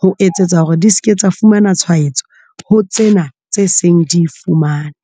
ho etsetsa hore di seke tsa fumana tshwaetso ho tsena tse seng di fumane.